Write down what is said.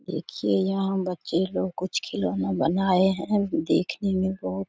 देखिए यहां बच्चे लोग कुछ खिलौने बनाए हैं देखने मे बहुत --